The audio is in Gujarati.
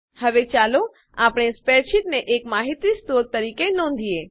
હવે ચાલો આપણે સ્પ્રેડશીટને એક માહિતી સ્ત્રોત તરીકે નોંધીએ